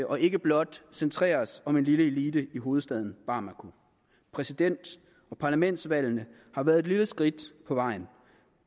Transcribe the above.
og ikke blot centreres om en lille elite i hovedstaden bamako præsident og parlamentsvalgene har været et lille skridt på vejen